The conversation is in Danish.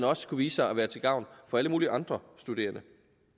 også kunne vise sig at være til gavn for alle mulige andre studerende